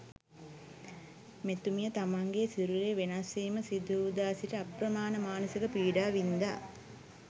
මෙතුමිය තමන්ගේ සිරුරේ වෙනස්වීම සිදුවූදා සිට අප්‍රමාණ මානසික පීඩා වින්ඳා.